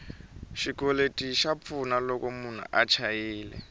xikweleti xa pfuna loko munhu a chayile